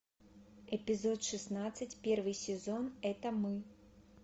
эпизод шестнадцать первый сезон это мы